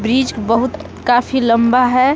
Bridge बहुत काफी लम्बा है।